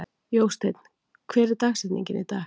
Jósteinn, hver er dagsetningin í dag?